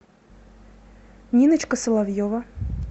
ниночка соловьева